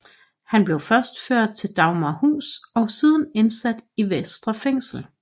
Han blev først ført til Dagmarhus og siden indsat i Vestre Fængsel